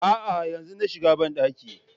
Aa, yanzu na shiga bandakin